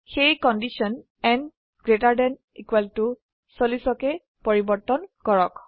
সেয়ে condition n gt 40 তে পৰিবৰ্তন কৰক